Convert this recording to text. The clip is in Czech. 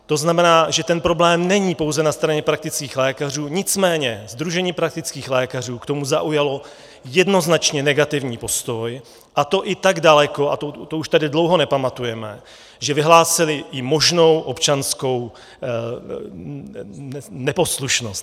To znamená, že ten problém není pouze na straně praktických lékařů, nicméně Sdružení praktických lékařů k tomu zaujalo jednoznačně negativní postoj, a to i tak daleko - a to už tady dlouho nepamatujeme - že vyhlásili i možnou občanskou neposlušnost.